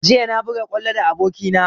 Jiya na buga kwallo da aboki na